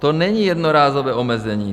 To není jednorázové omezení.